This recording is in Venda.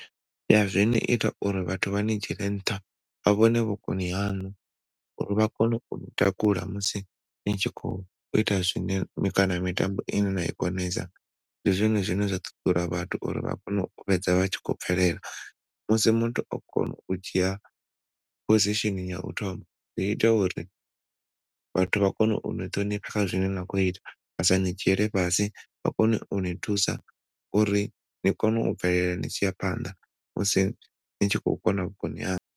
Ya zwi ni ita uri vhathu vha ni dzhiele nṱha vha vhone vhukoni haṋu uri vha kone uni takula musi ni tshi khou ita zwine kana mitambo ine na i konesa ndi zwone zwine zwa ṱuṱula vhathu uri vha kone u fhedza vha tshi khou bvelela. Musi muthu o kona u dzhia position ya u thoma zwi ita uri vhathu vha kone uni ṱhonifha kha zwine na khou ita vha sa ni dzhiele fhasi vhakone uni thusa uri ni kone u bvelela ni tshi ya phanḓa musi ni tshi khou kona vhukoni haṋu.